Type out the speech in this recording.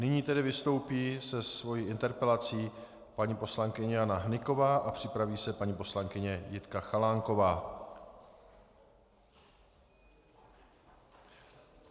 Nyní tedy vystoupí se svou interpelací paní poslankyně Jana Hnyková a připraví se paní poslankyně Jitka Chalánková.